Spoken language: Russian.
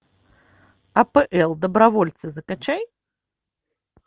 апл добровольцы закачай